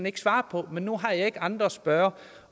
ikke svare på men nu har jeg ikke andre at spørge